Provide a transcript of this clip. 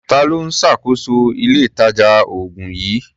Ta ló ń ṣàkóso ilé-ìtàjà-oògùn yìí?